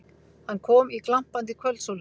Hann kom í glampandi kvöldsólinni.